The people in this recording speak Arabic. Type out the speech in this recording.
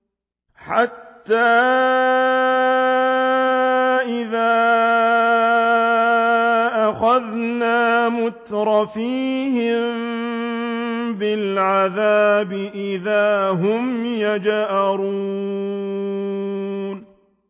حَتَّىٰ إِذَا أَخَذْنَا مُتْرَفِيهِم بِالْعَذَابِ إِذَا هُمْ يَجْأَرُونَ